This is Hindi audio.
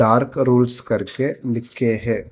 डार्क रूल्स करके लिख के है।